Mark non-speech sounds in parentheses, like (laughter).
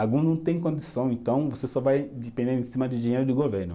Algum não tem condição, então você só vai depender (unintelligible) de dinheiro do governo.